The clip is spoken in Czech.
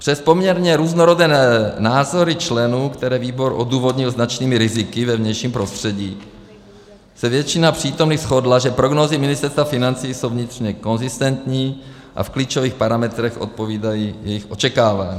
Přes poměrně různorodé názory členů, které výbor odůvodnil značnými riziky ve vnějším prostředí, se většina přítomných shodla, že prognózy Ministerstva financí jsou vnitřně konzistentní a v klíčových parametrech odpovídají jejich očekávání.